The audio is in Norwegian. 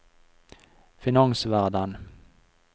finansverden